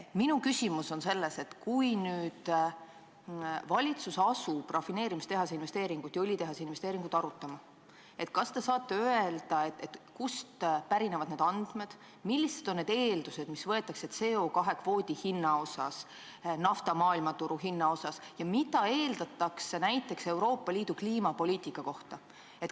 Minu küsimus on selles, et kui nüüd valitsus asub rafineerimistehase ja õlitehase investeeringut arutama, kas te saate öelda, kust siis pärinevad need andmed, millised on need eeldused, mis võetakse aluseks CO2 kvoodi ja nafta maailmaturu hinna puhul, ja mida eeldatakse näiteks Euroopa Liidu kliimapoliitika kohta.